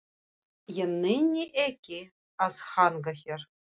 Ég nenni ekki að hanga hér.